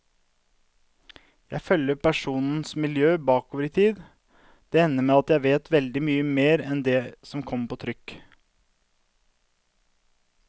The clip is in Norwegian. Jeg følger personenes miljø bakover i tiden, det ender med at jeg vet veldig mye mer enn det som kommer på trykk.